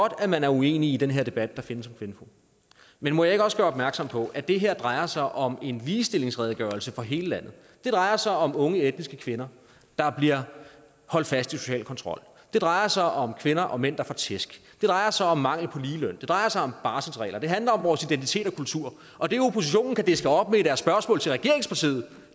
at man er uenig i den her debat der findes om kvinfo men må jeg ikke også gøre opmærksom på at det her drejer sig om en ligestillingsredegørelse for hele landet det drejer sig om unge etniske kvinder der bliver holdt fast i social kontrol det drejer sig om kvinder og mænd der får tæsk drejer sig om mangel på ligeløn det drejer sig om barselsregler det handler om vores identitet og kultur og det oppositionen kan diske op med i deres spørgsmål til regeringspartiet